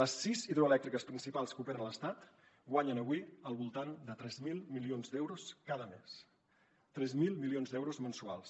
les sis hidroelèctriques principals que operen a l’estat guanyen avui al voltant de tres mil milions d’euros cada mes tres mil milions d’euros mensuals